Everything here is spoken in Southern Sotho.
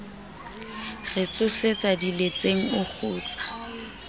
re tsosetsa diletseng o kgutsa